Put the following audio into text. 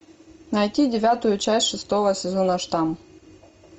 найти девятую часть шестого сезона штамм